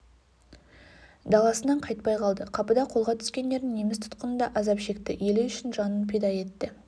даласынан қайтпай қалды қапыда қолға түскендері неміс тұтқынында азап шекті елі үшін жанын пида етті